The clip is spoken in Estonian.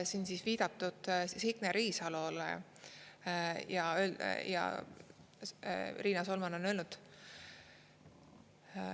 Siin on viidatud Signe Riisalole ja Riina Solman on öelnud.